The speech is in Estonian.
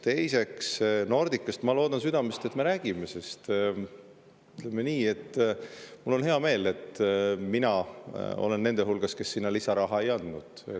Teiseks, Nordicast – ma loodan seda südamest – me veel räägime, sest ütleme nii, mul on hea meel, et mina olen nende hulgas, kes sinna lisaraha ei andnud.